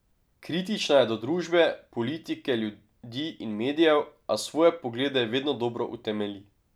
Kritična je do družbe, politike, ljudi in medijev, a svoje poglede vedno dobro utemelji.